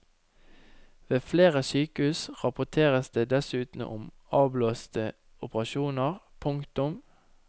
Ved flere sykehus rapporteres det dessuten om avblåste operasjoner. punktum